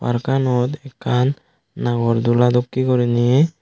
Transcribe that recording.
parkanot ekkan nagor dula dokkey guriney.